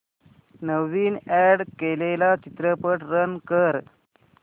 नवीन add केलेला चित्रपट run कर